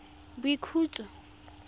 boikhutso